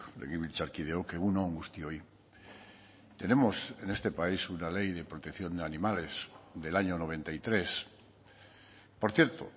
legebiltzarkideok egun on guztioi tenemos en este país una ley de protección de animales del año noventa y tres por cierto